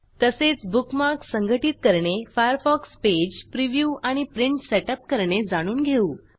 तसेच बुकमार्क्स संघटित करणे फायरफॉक्स पेज प्रिव्ह्यू आणि प्रिंट सेटअप करणे जाणून घेऊ